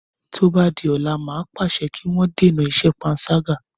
Tó bá di ọ̀la, màá pàṣẹ kí wọ́n dènà iṣẹ́ panṣágà.